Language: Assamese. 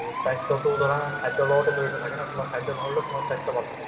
স্বাস্থ্যতোও ধৰা খাদ্যৰ লগতে জড়িত থাকে ন তোমাৰ খাদ্য ভাল হলে তোমাৰ স্বাস্থ্যও ভাল থাকিব